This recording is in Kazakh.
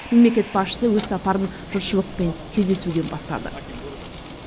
мемлекет басшысы өз сапарын жұртшылықпен кездесуден бастады